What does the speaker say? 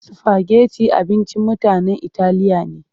Sifageti abincin mutanen italiya ne.